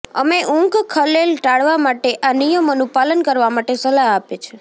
અમે ઊંઘ ખલેલ ટાળવા માટે આ નિયમોનું પાલન કરવા માટે સલાહ આપે છે